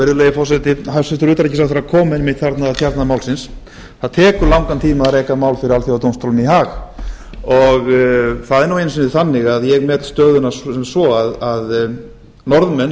virðulegi forseti hæstvirtur utanríkisráðherra kom einmitt þarna að kjarna málsins það tekur langan tíma að reka mál fyrir alþjóðadómstólnum í haag það er nú einu sinni þannig að ég met stöðuna sem svo að norðmenn